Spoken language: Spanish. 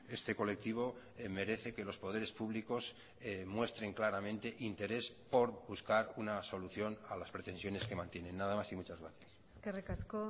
este colectivo merece que los poderes públicos muestren claramente interés por buscar una solución a las pretensiones que mantienen nada más y muchas gracias eskerrik asko